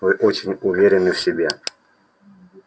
вы очень уверены в себе